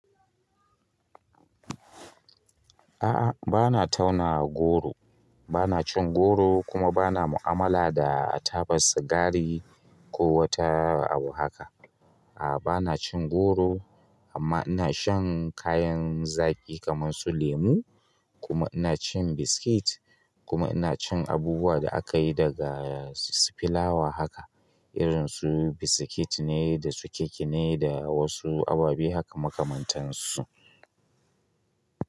A'a, ba na tauna goro, ba na cin goro kuma ba na mu'amala da a taɓa sigari ko wata abu haka. A'a, ba na cin goro amma ina shan kayan zaki kamar su lemu kuma ina cin biskit kuma ina cin abubuwa da aka yi daga si filawa haka irin su biskit ne da su cake ne da wasu ababe haka makamantansu.